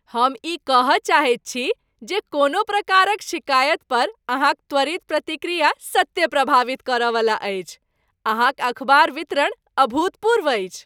हम ई कह चाहैत छी जे कोनो प्रकारक शिकायत पर अहाँक त्वरित प्रतिक्रिया सत्ते प्रभावित कर वाला अछि। अहाँक अखबार वितरण अभूतपूर्व अछि ।